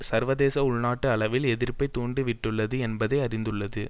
சர்வதேச உள்நாட்டு அளவில் எதிர்ப்பை தூண்டி விட்டுள்ளது என்பதை அறிந்துள்ளது